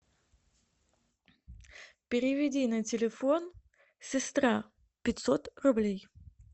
переведи на телефон сестра пятьсот рублей